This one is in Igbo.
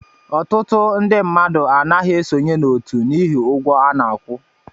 Ọtụtụ ndị mmadụ anaghị esonye n'otu n'ihi ụgwọ a na-akwụ